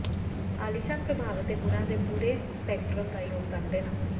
ਆਲੀਸ਼ਾਨ ਪ੍ਰਭਾਵ ਅਤੇ ਗੁਣਾਂ ਦੇ ਪੂਰੇ ਸਪੈਕਟ੍ਰਮ ਦਾ ਯੋਗਦਾਨ ਦੇਣਾ